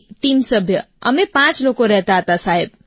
team સભ્ય અમે પાંચ લોકો રહેતા હતા સાહેબ